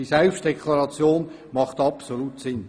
Die Selbstdeklaration macht absolut Sinn.